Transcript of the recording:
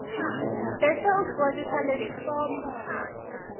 bese ugcwalisa lelifomu